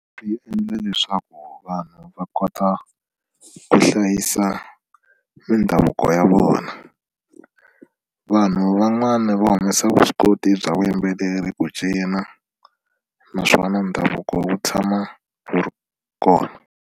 Swi endla leswaku vanhu va kota ku hlayisa mindhavuko ya vona vanhu van'wani va humesa vuswikoti bya vuyimbeleri ku cina naswona ndhavuko wu tshama wu ri kona.